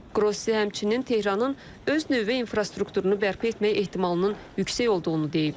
Qrossi həmçinin Tehranın öz nüvə infrastrukturunu bərpa etmək ehtimalının yüksək olduğunu deyib.